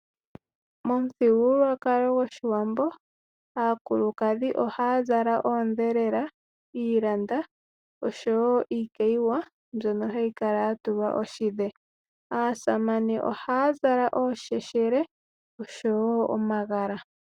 Momuthigululwakalo gwoshiwambo aakulukadhi ohaya zala oondhelela, iilanda niikayiwa mbyono hayi kala ya tulwa oshidhe. Aasamane ohaya zala osheshele nomagala.